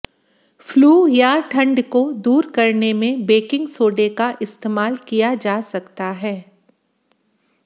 flu या ठंड को दूर करने में बैकिंग सोडे का इस्तेमाल किया जा सकता है